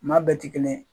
Maa bɛɛ ti kelen ye